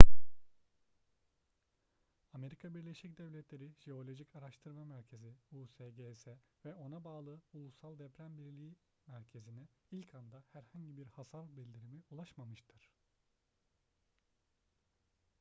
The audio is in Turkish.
amerika birleşik devletleri jeolojik araştırma merkezi usgs ve ona bağlı ulusal deprem bilgi merkezi'ne ilk anda herhangi bir hasar bildirimi ulaşmamıştır